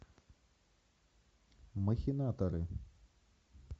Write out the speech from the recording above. махинаторы